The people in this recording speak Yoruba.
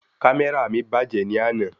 Kámẹ́rà mi bàjẹ́ ni àná